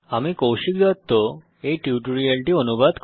আমি কৌশিক দত্ত এই টিউটোরিয়ালটি অনুবাদ করেছি